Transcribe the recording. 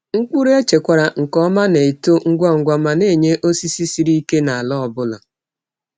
Mkpụrụ echekwara nke ọma na-eto ngwa ngwa ma na-enye osisi siri ike n’ala ọ bụla.